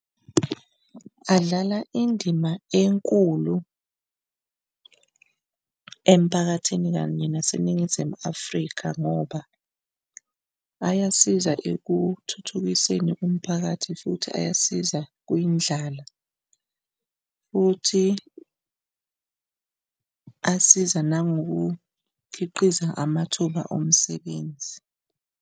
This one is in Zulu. Adlala indima enkulu emphakathini kanye naseNingizimu Afrika ngoba ayasiza ekuthuthukiseni umphakathi futhi ayasiza kwindlala, futhi asiza nangokukhiqiza amathuba omsebenzi.